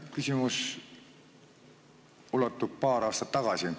Küsimus ulatub aega paar aastat tagasi.